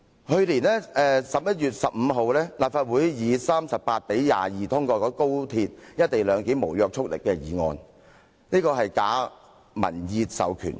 去年11月15日，立法會以38比22票表決通過高鐵"一地兩檢"無約束力議案，是假民意授權。